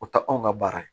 O tɛ anw ka baara ye